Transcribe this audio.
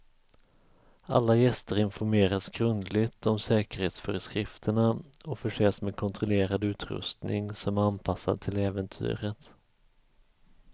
Alla gäster informeras grundligt om säkerhetsföreskrifterna och förses med kontrollerad utrustning som är anpassad till äventyret.